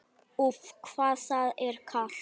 Úff, hvað það er kalt!